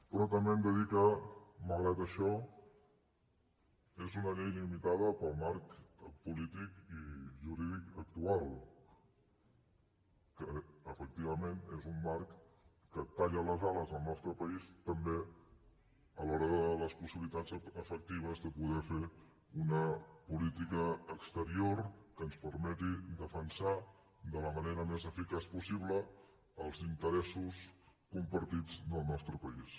però també hem de dir que malgrat això és una llei limitada pel marc polític i jurídic actual que efectivament és un marc que talla les ales al nostre país també a l’hora de les possibilitats efectives de poder fer una política exterior que ens permeti defensar de la manera més eficaç possible els interessos compartits del nostre país